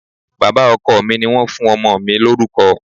Bàbá ọkọ mi ni wọ́n fún ọmọ mi lórúkọ